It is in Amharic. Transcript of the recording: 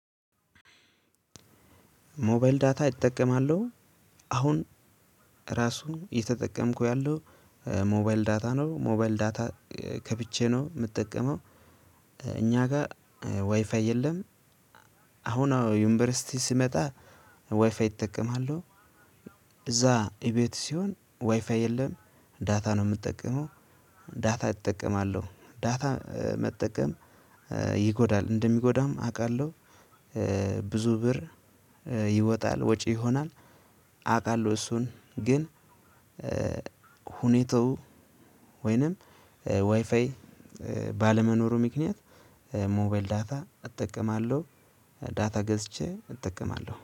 ሞባይል ዳታ እጠቀማለሁ። አሁን ራሱ እየተጠቀምኩት ያለሁት ሞባይል ዳታ ነው። ሞባይል ዳታ ከፍቼ ነው የምጠቀመው። እኛ ጋር ዋይፋይ የለም። አሁን ዩኒቨርሲቲ ስመጣ ዋይፋይ እጠቀማለሁ። እዛ እቤት ስሆን ዋይፋይ የለም። ዳታ ነው የምጠቀመው። ዳታ እጠቀማለሁ። ዳታ መጠቀም ይጎዳል። እንደሚጎዳም አውቃለሁ። ብዙ ብር ይወጣል፣ ወጪ ይሆናል፣ አውቃለሁ። እሱን ግን ሁኔታው ወይንም ዋይፋይ ባለመኖሩ ምክንያት ሞባይል ዳታ እጠቀማለሁ። ዳታ ገዝቼ እጠቀማለሁ።